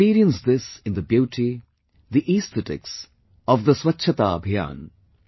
We experience this in the beauty, the aesthetics of the Swachchata Abhiyan